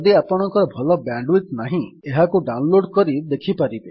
ଯଦି ଆପଣଙ୍କର ଭଲ ବ୍ୟାଣ୍ଡ୍ ୱିଡଥ୍ ନାହିଁ ଏହାକୁ ଡାଉନ୍ ଲୋଡ୍ କରି ଦେଖିପାରିବେ